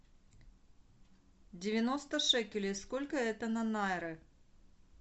девяносто шекелей сколько это на найры